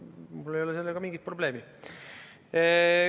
Mul ei ole sellega mingit probleemi.